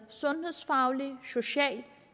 sundhedsfaglig og social